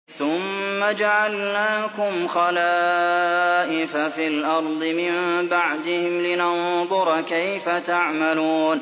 ثُمَّ جَعَلْنَاكُمْ خَلَائِفَ فِي الْأَرْضِ مِن بَعْدِهِمْ لِنَنظُرَ كَيْفَ تَعْمَلُونَ